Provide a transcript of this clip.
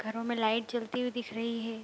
घरो में लाइट जलती हुईं दिख रही है।